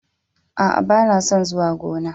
A'a, ban son zuwa gona.